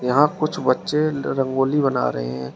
यहां कुछ बच्चे रंगोली बना रहे हैं।